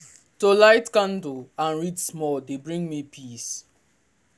to light candle and read small dey bring me peace.